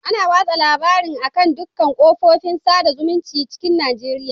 Ana watsa labarin a'kan dukan ƙafofin saɗa zumuncin cikin Najeriya